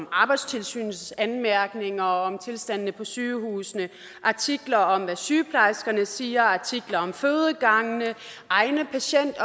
arbejdstilsynets anmærkninger og om tilstandene på sygehusene artikler om hvad sygeplejerskerne siger artikler om fødegangene egne